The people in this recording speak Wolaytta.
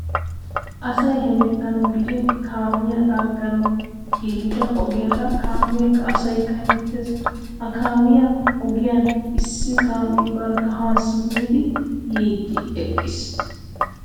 Asay hemettanawu gidin kaamiya laagganawu giigida ogiyara kaameekka asaykka hemettees. Ha kaamiya ogiyan issi kaamee barkka haa simmidi yiiddi eqqiis.